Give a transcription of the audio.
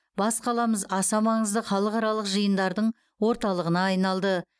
бас қаламыз аса маңызды халықаралық жиындардың орталығына айналды